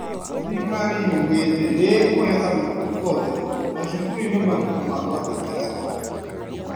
Thirikari yugĩte nĩĩkũhe arutwo othe macukuruinĩ mabuku ma kwandĩkĩra